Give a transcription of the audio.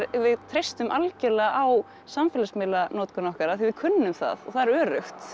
við treystum algjörlega á samfélagsmiðlanotkun okkar af því að við kunnum það og það er öruggt